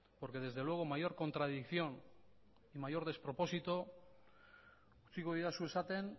porque desde luego mayor contradicción mayor despropósito utziko didazu esaten